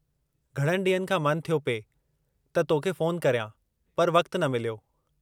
घणनि ॾींहनि खां मन थियो पिए त तोखे फ़ोन करियां, पर वक़्तु न मिलियो।